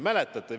Mäletate?